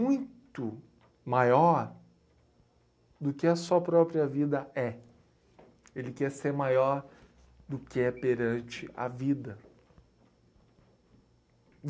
muito maior do que a sua própria vida é. Ele quer ser maior do que é perante a vida.